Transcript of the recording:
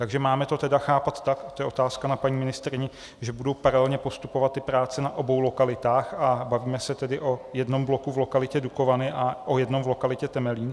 Takže máme to tedy chápat tak - to je otázka na paní ministryni - že budou paralelně postupovat ty práce na obou lokalitách, a bavíme se tedy o jednom bloku v lokalitě Dukovany a o jednom v lokalitě Temelín?